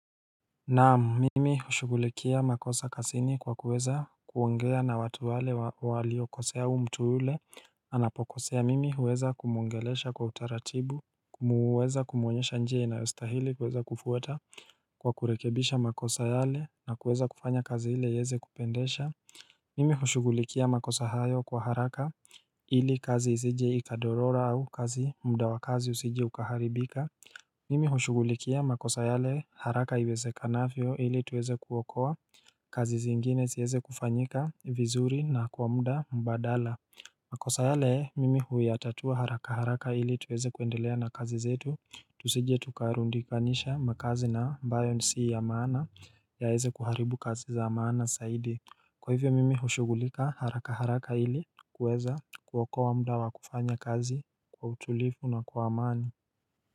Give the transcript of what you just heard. Naam mimi hushughulikia makosa kazini kwa kuweza kuongea na watu wale waliokosea huu mtu yule Anapokosea mimi huweza kumwongelesha kwa utaratibu kuweza kumwonyesha njia inayostahili kwa kuweza kufuata Kwa kurekebisha makosa yale na kuweza kufanya kazi ile iwezekupendeza Mimi hushughulikia makosa hayo kwa haraka ili kazi isije ikadorora au kazi mda wa kazi usije ukaharibika Mimi hushughulikia makosa yale haraka iwezekanavyo ili tuweze kuokoa kazi zingine ziweze kufanyika vizuri na kwa mda badala makosa yale mimi huyatatua haraka haraka ili tuweze kuendelea na kazi zetu Tusije tukarundikanisha makazi na ambayo si ya maana yaweze kuharibu kazi za maana zaidi Kwa hivyo mimi hushughulika haraka haraka ili kuweza kuokoa muda wakufanya kazi kwa utulivu na kwa amani.